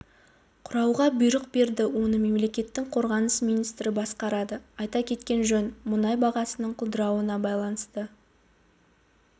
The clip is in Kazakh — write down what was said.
құруға бұйрық берді оны мемлекеттің қорғаныс министрі басқарады айта кеткен жөн мұнай бағасының құлдырауына байланысты